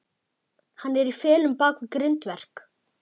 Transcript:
Hann er í felum bak við grindverk.